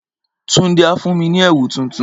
Tunde á fún mi ní ẹ̀wù tuntun.